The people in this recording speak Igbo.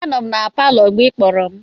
Anọ m na palọ mgbe ị kpọrọ.